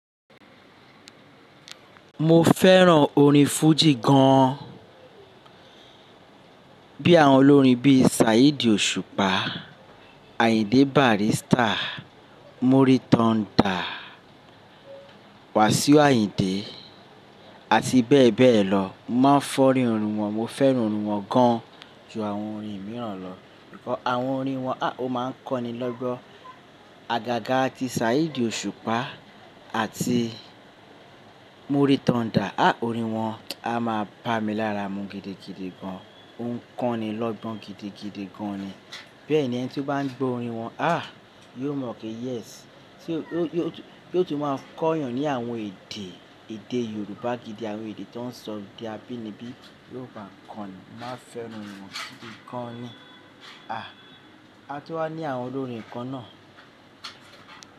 Mo fẹ́ràn orin fújì gan an. Bí àwọn olórin bí Saheed òṣùpá, Ayinde Barrister, Muri thunder, Wasiu Ayinde àti bẹ́ẹ̀ bẹ́ẹ̀ lọ. Mo máa ń fẹ́ràn orin wọn, mo fẹ́ràn orin wọn gan ju àwọn orin mìíràn lọ. Àwọn orin wọn a o máa ń kọ́ni lọ́gbọ́n. Àgàgà tí Saheed òṣùpá àti Muri thunder, á orin wọn a máa ń bá mi lára mu gidigidi gan. Ó ń kọ́ni lọ́gbọ́n gidigidi gan ni. Bẹ́ẹ̀ni ẹni tí ó bá ń gbọ orin wọn, á yóò mọ̀ pé yes ṣe yo tu yóò tú máa ń kọ́ èèyàn ní àwọn èdè èdè Yorùbá gidi, àwọn èdè tó ń sọ òde abínibí, yóò máa ń kọ́ni, mo máa fẹ́ràn orin wọn gidi gan ni. A tún wá ní àwọn olórin kan náà.